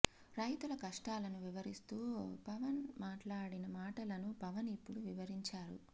రైతుల కష్టాలను వివరిస్తూ పవన్ మాట్లాడిన మాటలను పవన్ ఇప్పుడు వివరించారు